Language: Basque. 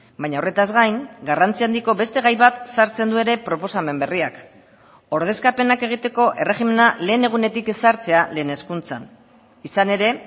baina horretaz gain garrantzia handiko beste gai bat sartzen du ere proposamen berriak ordezkapenak egiteko erregimena lehen egunetik ezartzea lehen hezkuntzan izan ere